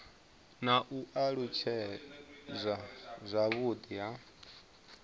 na u alutshedzwa zwavhudi ha